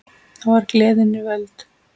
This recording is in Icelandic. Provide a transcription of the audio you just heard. Þá var gleðin við völd.